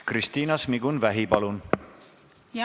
Kristiina Šmigun-Vähi, palun!